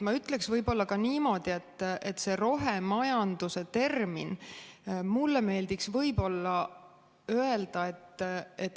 Ma ütleks võib-olla ka niimoodi, et see rohemajanduse termin.